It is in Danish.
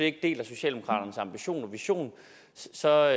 ikke deler socialdemokraternes ambition og vision så er